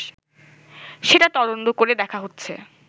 সেটা তদন্ত করে দেখা হচ্ছে